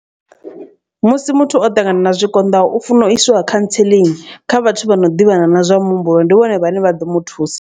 Musi muthu o ṱangana na zwikonḓaho u funa u iswa cancelling kha vhathu vha no ḓivhana na zwa muhumbulo ndi vhone vhane vha ḓo mu thusa.